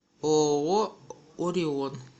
ооо орион